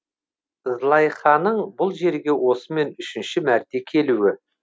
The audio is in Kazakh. злайханың бұл жерге осымен үшінші мәрте келуі